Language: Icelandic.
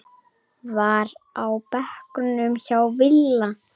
var á bekknum hjá Villa.